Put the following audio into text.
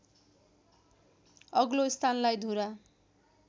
अग्लो स्थानलाई धुरा